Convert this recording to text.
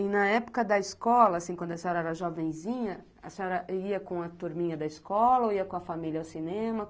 E na época da escola assim, quando a senhora era jovenzinha, a senhora ia com a turminha da escola ou ia com a família ao cinema?